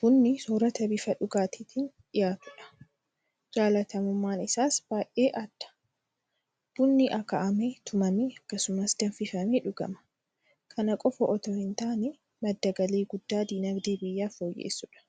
Bunni soorata bifa dhuugaatiin dhiyaatudha. Jaalatamummaan isaas baay'ee aadda. Bunni akaa'amee; tumamee; akkasumas danfifamee dhugama. Kana qofa itoo hintaane madda galii guddaa diinagdee biyyaa fooyyessudha.